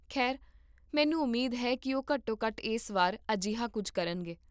ਖੈਰ, ਮੈਨੂੰ ਉਮੀਦ ਹੈ ਕੀ ਉਹ ਘੱਟੋ ਘੱਟ ਇਸ ਵਾਰ ਅਜਿਹਾ ਕੁੱਝ ਕਰਨਗੇ